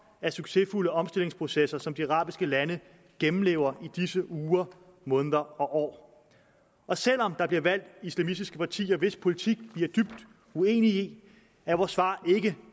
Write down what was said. af succesfulde omstillingsprocesser som de arabiske lande gennemlever i disse uger måneder og år selv om der bliver valgt islamistiske partier hvis politik vi er dybt uenige i er vores svar ikke